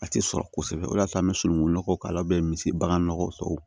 A tɛ sɔrɔ kosɛbɛ o de y'a to an bɛ sununkun nɔgɔ k'a la a bɛ misi bagan nɔgɔ sago